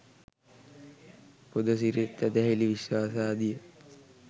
පුදසිරිත් ඇදහිලි විශ්වාසාදිය